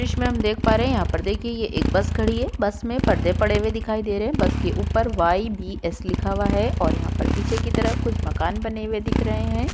दृश्य में हम देख पा रहे हैं। यहाँ पर देखिए ये एक बस खड़ी है। बस में पर्दे पड़े हुए दिखाई दे रहे हैं। बस के ऊपर वाई.बी.एस लिखा हुआ है और यहाँ पर पीछे की तरफ कुछ मकान बने हुए दिख रहे हैं।